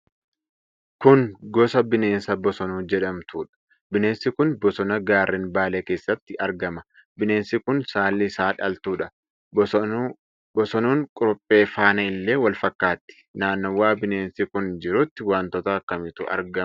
Kun gosa bineensaa Bosonuu jedhamtuudha. Bineensi kun bosona gaarren Baalee keessatti argama. Bineensi kun saalli isaa dhaltuudha. Bosonuun kuruphee faana illee wal fakkaatti. Naannawa bineensi kun jiruutti wantoota akkamiitu argama?